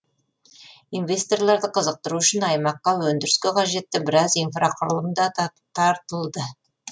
инвесторларды қызықтыру үшін аймаққа өндіріске қажетті біраз инфрақұрылым да тартылды